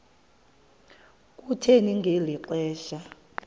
kuthe ngeli xesha